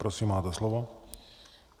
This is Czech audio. Prosím, máte slovo.